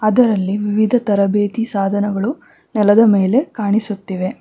ಅದರಲ್ಲಿ ವಿವಿಧ ತರಬೇತಿ ಸಾಧನಗಳು ನೆಲದ ಮೇಲೆ ಕಾಣಿಸುತ್ತಿವೆ.